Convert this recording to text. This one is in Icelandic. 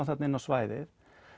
þarna inn á svæðið